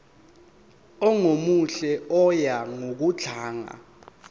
ongemuhle oya ngokudlanga